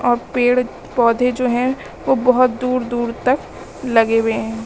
और पेड़ पौधे जो हैं वह बहुत दूर दूर तक लगे हुए हैं।